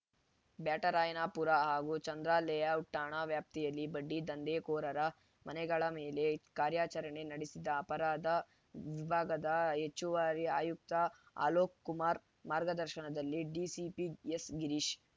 ಬ್ಯಾಟರಾಯನಪುರ ಹಾಗೂ ಚಂದ್ರಾ ಲೇಔಟ್‌ ಠಾಣಾ ವ್ಯಾಪ್ತಿಯಲ್ಲಿ ಬಡ್ಡಿ ದಂಧೆಕೋರರ ಮನೆಗಳ ಮೇಲೆ ಕಾರ್ಯಾಚರಣೆ ನಡೆಸಿದ ಅಪರಾಧ ವಿಭಾಗದ ಹೆಚ್ಚುವರಿ ಆಯುಕ್ತ ಅಲೋಕ್‌ ಕುಮಾರ್‌ ಮಾರ್ಗದರ್ಶನದಲ್ಲಿ ಡಿಸಿಪಿ ಎಸ್‌ಗಿರೀಶ್‌